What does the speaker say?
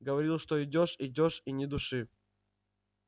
говорил что идёшь идёшь и ни души